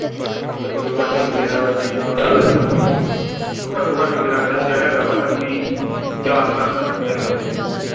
ਘਟੋ ਘੱਟ ਮੇਰਾ ਰੁਪਇਆ ਹੈਗਾ ਵਾ ਘਟੋ ਘੱਟ ਮੇਰਾ ਖਰਚਾ ਹੈਗਾ ਵਾ ਹੈਪੀ ਚਾਰ ਕ ਲੱਖ ਦਾ ਖ਼ਰਚਾ ਹੈਗਾ ਵਾ ਹਜੇ ਹੋਰ।